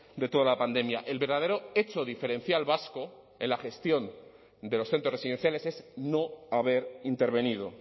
de toda la pandemia el verdadero hecho diferencial vasco en la gestión de los centros residenciales es no haber intervenido